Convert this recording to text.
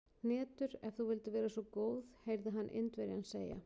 Hnetur, ef þú vildir vera svo góð heyrði hann Indverjann segja.